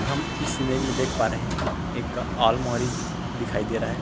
हम इस इमेज में देख पा रहे हैं एक ऑल मोहरी दिखाई दे रहा है।